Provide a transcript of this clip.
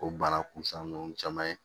O bana kunsan ninnu caman ye